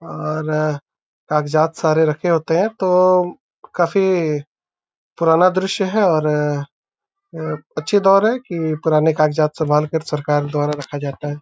और कागजात सारे रखे होते है तो काफी पुराना दृश्य है और अ अच्छे दौर है की पुराने कागजात संभालकर सरकार द्वारा रखा जाता है।